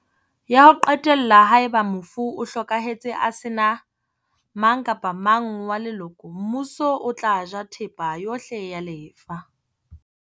Ya ho qetella, haeba mofu o hlokahetse a sena mang kapa mang wa leloko, Mmuso o tla ja thepa yohle ya lefa.